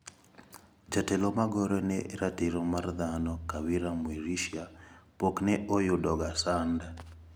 Jatelo magore ne ratiro mar dhano Kawira Mwirishia pok ne oyudoga sand.